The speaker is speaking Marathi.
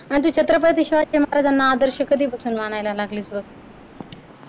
आणि तू छत्रपती शिवाजी महाराजांना आदर्श कधीपासून मानायला लागलीस ग.